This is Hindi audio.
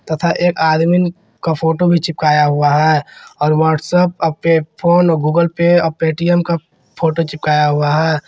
तथा एक आदमी का फोटो भी चिपकाया हुआ है और व्हाट्सएप अपने फोन गूगल पे और पेटीएम का फोटो चिपकाया हुआ है।